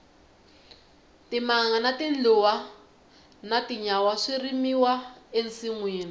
timanga tindluwa na tinyawa swi rimiwa e masinwini